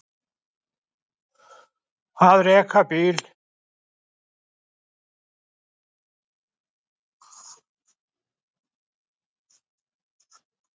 Að reka bíl